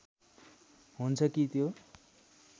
हुन्छ कि त्यो